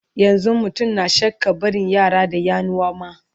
yanzun mutum na shakkan barin yara da yanuwa ma